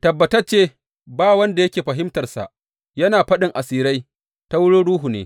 Tabbatacce, ba wanda yake fahimtarsa; yana faɗin asirai ta wurin ruhu ne.